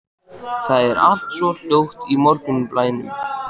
Það er allt svo hljótt í morgunblænum.